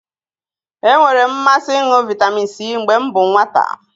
E nwere m mmasị ịṅụ vitamin C mgbe m bụ nwata